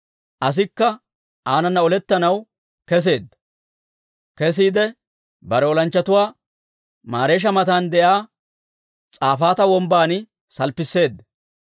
Asikka aanana olettanaw kesseedda; kesiide bare olanchchatuwaa Mareesha matan de'iyaa S'afaata Wombban salppisseedda.